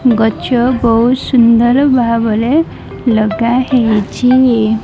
ଗଛ ବୋହୁତ ସୁନ୍ଦର ଭାବରେ ଲଗାହେଇଛି।